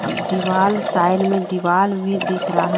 दीवाल साइड में दीवाल में दिख रहा है।